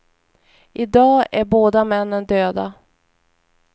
I dag är båda männen döda.